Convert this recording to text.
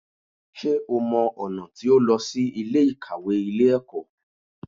Sé o mọ ọ̀nà tí ó lọ sí Ilé ìkàwé Ilé ẹ̀kọ́?